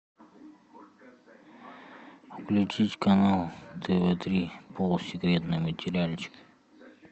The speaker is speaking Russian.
включить канал тв три полусекретный материальчик